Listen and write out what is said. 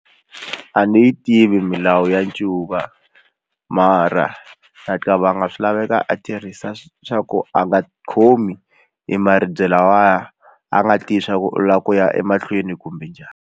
A ni yi tivi milawu ya ncuva mara ha swi laveka a tirhisa swa ku a nga khomi hi maribye lawaya a nga tivi swa ku u lava ku ya emahlweni kumbe njhani.